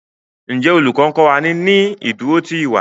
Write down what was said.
Njé Olùkó nkó wá ní ní ìdúró tí ìwà?